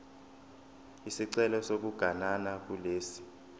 isicelo sokuganana kulesi